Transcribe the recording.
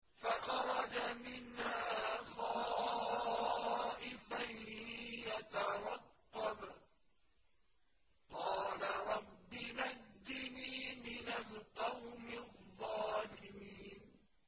فَخَرَجَ مِنْهَا خَائِفًا يَتَرَقَّبُ ۖ قَالَ رَبِّ نَجِّنِي مِنَ الْقَوْمِ الظَّالِمِينَ